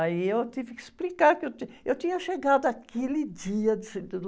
Aí eu tive que explicar que eu tinha, eu tinha chegado aquele dia do